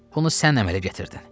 Bunu sən əmələ gətirdin.